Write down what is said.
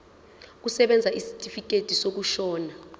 kusebenza isitifikedi sokushona